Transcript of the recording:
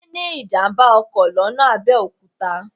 Táyé ní ìjàm̀bá ọkọ̀ lọ́nà Abẹ́òkúta